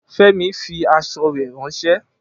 Femi fi aṣọ rè ránsẹ́